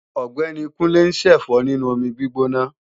Ọ̀gbẹ́ni Kúnlé ń ṣẹ̀fọ́ nínú omi gbígbóná